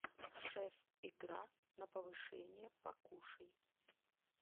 шеф игра на повышение покушай